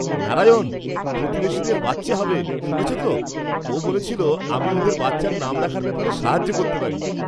নারায়ণ, প্রতিবেশীদের বাচ্চা হবে, শুনেছো তো? ও বলছিল আমি ওদের বাচ্চার নাম রাখার ব্যাপারে সাহায্য করতে পারি।